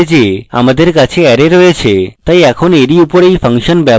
তাই এখন এরই উপর এই ফাংশন ব্যবহার করে echo করলে